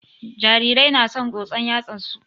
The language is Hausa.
Jarirai na son tsotsan yatsan su